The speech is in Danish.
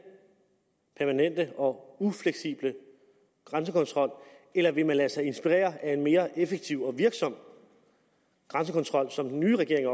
permanente og ufleksible grænsekontrol eller ville man lade sig inspirere af en mere effektiv og virksom grænsekontrol som den nye regering